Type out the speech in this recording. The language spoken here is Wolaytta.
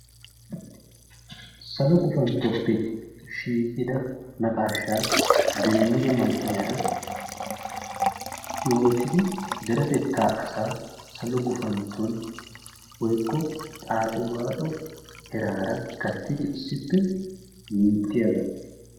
Salo guffantoppe shiiqqida naqaashaa demmido man'iyara yootidi deretettaa asaa salo guffantton woykko xaaxxi waaxo erara gattidi issippe minttiyaaga.